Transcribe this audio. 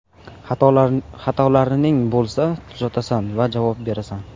Xatolarining bo‘lsa, tuzatasan va javob berasan.